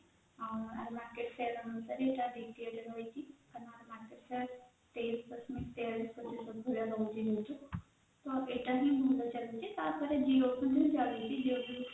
market share ହିସାବରେ ଏଇଟା ରହିଛି ଆଉ market share ତେଇଶ ଦଶମିକ ତେଇୟାଳିଶ ଭଳିଆ ରହୁଛି ତ ଏଇଟା ହି ରହିଛି ତାପରେ Jio ର ଵି କ୍ଗାଲିଛି jioର